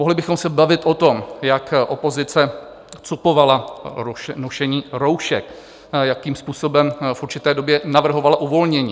Mohli bychom se bavit o tom, jak opozice cupovala nošení roušek, jakým způsobem v určité době navrhovala uvolnění.